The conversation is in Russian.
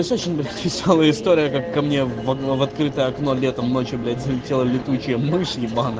весёлая история как камни в открытое окно летом ночью залетела летучая мышь